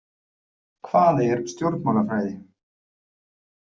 Hvað er stjórnmálafræði?